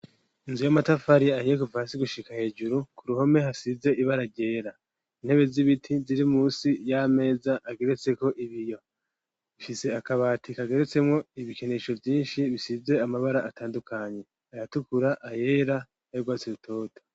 inzu y'amatafari ahiye kuva hasi gushika hejuru ku ruhome hasize ibara ryera, intebe z'ibiti ziri munsi y'ameza ageretseko ibiyo, ifise akabati kageretsemwo ibikinisho vyinshi bisize amabara atandukanye ayatukura, ayera, n'ay'urwatsi rutoto.